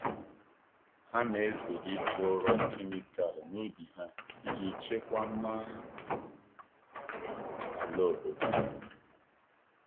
Ha na-ezere iji ụrọ kemịkal n’ubi ha iji chekwaa mma ala obodo.